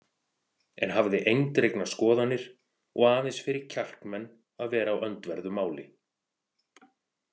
En hafði eindregnar skoðanir og aðeins fyrir kjarkmenn að vera á öndverðu máli.